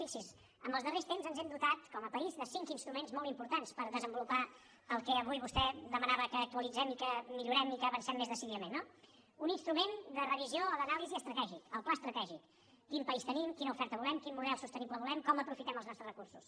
fixi s’hi en els darrers temps ens hem dotat com a país de cinc instruments molt importants per desenvolupar el que avui vostè demanava que actualitzem i que millorem i que hi avancem més decididament no un instrument de revisió o d’anàlisi estratègica el pla estratègic quin país tenim quina oferta volem quin model sostenible volem com aprofitem els nostres recursos